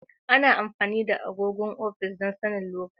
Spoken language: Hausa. Ana amfani da agogon ofis don sanin lokaci.